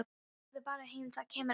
Farðu bara heim, það kemur að þér.